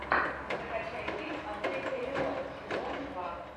закачай фильм отель элеон сезон два